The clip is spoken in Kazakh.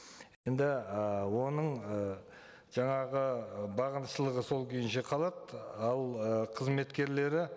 енді і оның ы жаңағы бағыншылығы сол күйінше қалады ал ы қызметкерлері